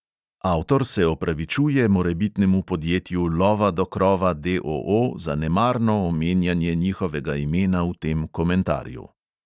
Avtor se opravičuje morebitnemu podjetju lova do krova, D O O, za nemarno omenjanje njihovega imena v tem komentarju.